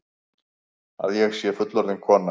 Að ég sé fullorðin kona.